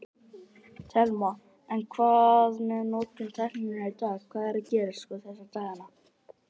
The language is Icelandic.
Telma: En hvað með notkun tækninnar í dag, hvað er að gerast sko þessa dagana?